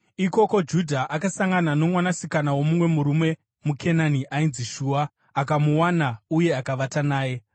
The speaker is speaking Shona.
Ikoko Judha akasangana nomwanasikana womumwe murume muKenani ainzi Shua. Akamuwana uye akavata naye;